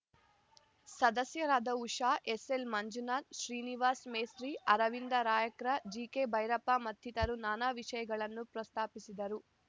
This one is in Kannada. ಸದಸ್ಯರಾದ ಉಷಾ ಎಸ್‌ಎಲ್‌ಮಂಜುನಾಥ್‌ ಶ್ರೀನಿವಾಸ್‌ ಮೇಸ್ತ್ರೀ ಅರವಿಂದ ರಾಯ್ಕರ್‌ ಜಿಕೆಭೈರಪ್ಪ ಮತ್ತಿತರರು ನಾನಾ ವಿಷಯಗಳನ್ನು ಪ್ರಸ್ತಾಪಿಸಿದರು